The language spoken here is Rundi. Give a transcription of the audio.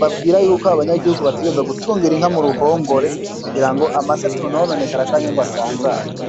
babwira yuko aba banyagihugu bategerezwa gutungira inka mu ruhongore kugira ngo amase atononekara canke ngo asanzare.